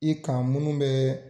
I kan munnu bɛ